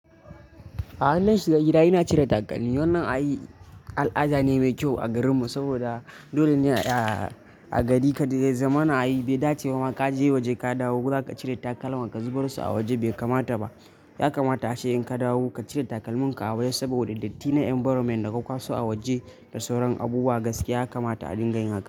A in nashiga gida yana cire takalmi wannan ayi al'ada ne mai kyau a garinmu saboda dole ne ayi a a gadi ka dai ya zaman a yi. Bai dace ba ka je waje ka dawo, zuƙa cire takalman ka, ka zubar su a waje bai kamata ba. Ya kamata ace in ka dawo ka cire takalmin ka a waje saboda datti na environment da kwakwaso a waje da sauran abubuwa gaskiya ya kamata a dinga yi haka.